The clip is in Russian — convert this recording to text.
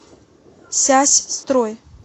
сясьстрой